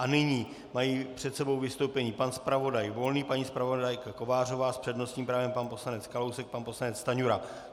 A nyní mají před sebou vystoupení pan zpravodaj Volný, paní zpravodajka Kovářová, s přednostním právem pan poslanec Kalousek, pan poslanec Stanjura.